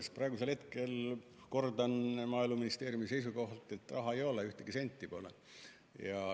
Sest praegusel hetkel – kordan Maaeluministeeriumi seisukohta – raha ei ole, ühtegi senti pole.